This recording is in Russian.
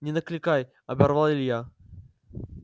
не накликай оборвал илья